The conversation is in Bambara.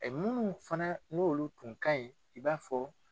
munnu fana n'olu tun ka ɲi i b'a fɔ